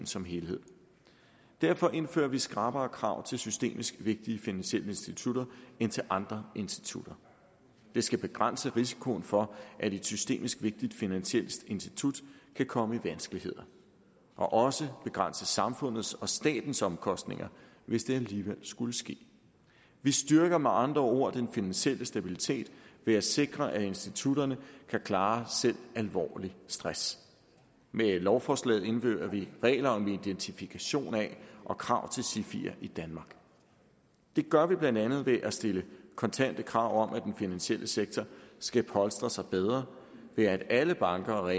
som helhed derfor indfører vi skrappere krav til systemisk vigtige finansielle institutter end til andre institutter det skal begrænse risikoen for at et systemisk vigtigt finansielt institut kan komme i vanskeligheder og også begrænse samfundets og statens omkostninger hvis det alligevel skulle ske vi styrker med andre ord den finansielle stabilitet ved at sikre at institutterne kan klare selv alvorlig stress med lovforslaget indfører vi regler om identifikation af og krav til sifier i danmark det gør vi blandt andet ved at stille kontante krav om at den finansielle sektor skal polstre sig bedre ved at alle banker og